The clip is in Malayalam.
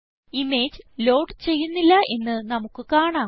ഇമേജ് ലോഡ് ചെയ്യുന്നില്ല എന്ന് നമുക്ക് കാണാം